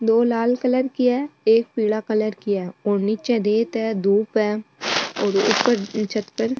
दो लाल कलर की है एक पीला कलर की है और नीचे रेत है दूब है और ऊपर छत पर --